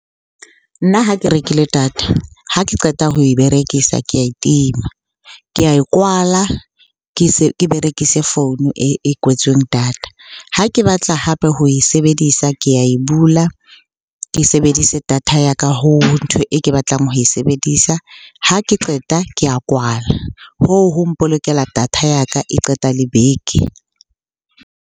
Nna ha ke rekile data. Ha ke qeta ho e berekisa, ke ae tima. Ke ae kwala, ke se berekise founu e kwetsweng data. Ha ke batla hape ho e sebedisa ke ya e bula, ke sebedise data ya ka ho ntho e ke batlang ho e sebedisa. Ha ke qeta ke ya kwalwa. Hoo ho mpolokela data ya ka, e qeta le beke.